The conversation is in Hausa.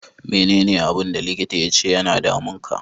Me ne ne abun da likita ya ce ya na damun ka?